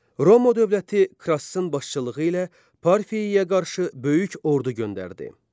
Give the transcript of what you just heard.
Roma dövləti Krassın başçılığı ilə Parfiyaya qarşı böyük ordu göndərdi.